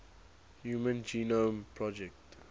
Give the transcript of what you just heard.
human genome project